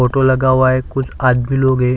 Photo लगा हुआ है कुछ आज भी लोग है।